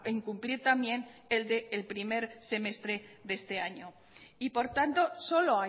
incumplir también el del primer semestre de este año y por tanto solo